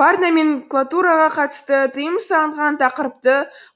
партноменклатураға қатысты тыйым салынған тақырыпты